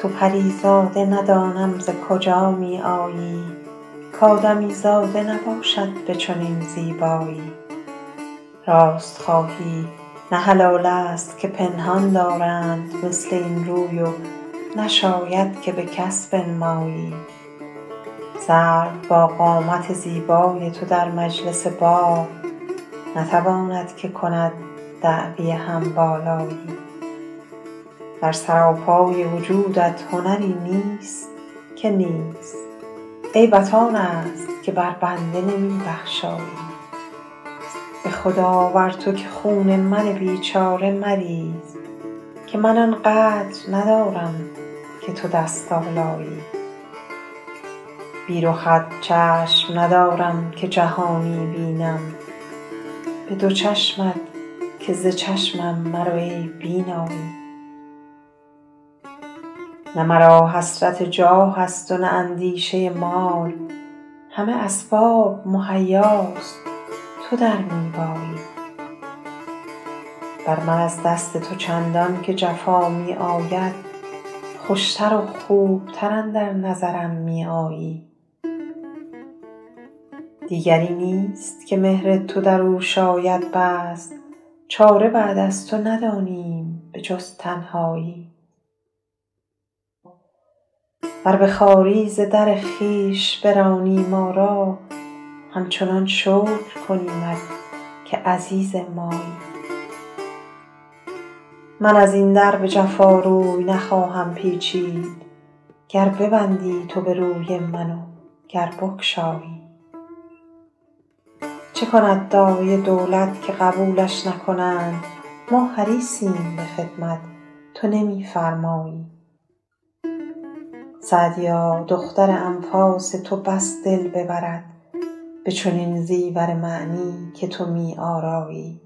تو پری زاده ندانم ز کجا می آیی کآدمیزاده نباشد به چنین زیبایی راست خواهی نه حلال است که پنهان دارند مثل این روی و نشاید که به کس بنمایی سرو با قامت زیبای تو در مجلس باغ نتواند که کند دعوی هم بالایی در سراپای وجودت هنری نیست که نیست عیبت آن است که بر بنده نمی بخشایی به خدا بر تو که خون من بیچاره مریز که من آن قدر ندارم که تو دست آلایی بی رخت چشم ندارم که جهانی بینم به دو چشمت که ز چشمم مرو ای بینایی نه مرا حسرت جاه است و نه اندیشه مال همه اسباب مهیاست تو در می بایی بر من از دست تو چندان که جفا می آید خوش تر و خوب تر اندر نظرم می آیی دیگری نیست که مهر تو در او شاید بست چاره بعد از تو ندانیم به جز تنهایی ور به خواری ز در خویش برانی ما را همچنان شکر کنیمت که عزیز مایی من از این در به جفا روی نخواهم پیچید گر ببندی تو به روی من و گر بگشایی چه کند داعی دولت که قبولش نکنند ما حریصیم به خدمت تو نمی فرمایی سعدیا دختر انفاس تو بس دل ببرد به چنین زیور معنی که تو می آرایی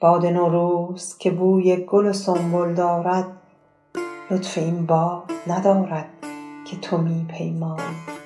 باد نوروز که بوی گل و سنبل دارد لطف این باد ندارد که تو می پیمایی